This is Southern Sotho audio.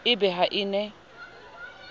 e be ha e ne